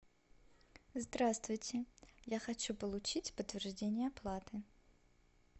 здравствуйте я хочу получить подтверждение оплаты